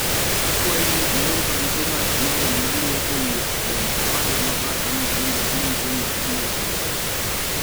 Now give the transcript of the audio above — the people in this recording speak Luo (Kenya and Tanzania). akwayi ni ior barupe mag email maluwo kowuok kuom owadwa mabathe Mutinda kinyise ni abiro bedo